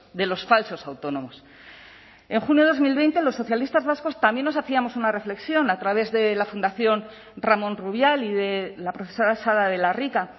de los falsos autónomos en junio de dos mil veinte los socialistas vascos también nos hacíamos una reflexión a través de la fundación ramón rubial y de la profesora sala de la rica